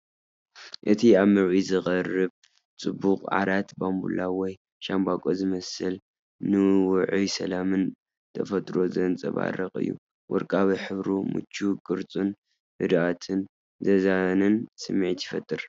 እቲ ኣብ ምርኢት ዝቐርብ ጽቡቕ ዓራት ባምቡላ ወይ ሻምበቆ ዝመስል ፡ ንውዑይን ሰላምን ተፈጥሮ ዘንጸባርቕ እዩ። ወርቃዊ ሕብሩን ምቹው ቅርጹን ህድኣትን ዘዛንን ስምዒት ይፈጥር።